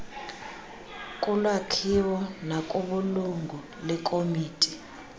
kulakhiwo nakubulungu lekomiti